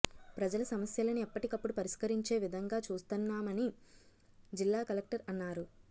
ప్రజల సమస్యలను ఎప్పటికప్పుడు పరిష్కరించే విధంగా చూస్తున్నామని జిల్లా కలెక్టర్ అన్నారు